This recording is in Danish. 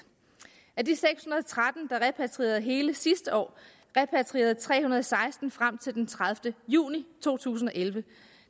af de seks hundrede og tretten der repatrierede hele sidste år repatrierede tre hundrede og seksten frem til den tredivete juni to tusind og elleve